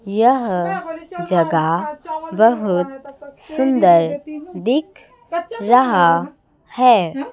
यह जगह बहोत सुंदर दिख रहा है।